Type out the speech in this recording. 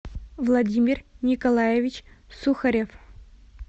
владимир николаевич сухарев